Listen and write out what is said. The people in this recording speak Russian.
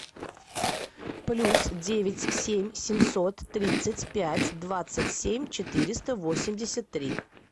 плюс девять семь семьсот тридцать пять двадцать семь четыреста восемьдесят три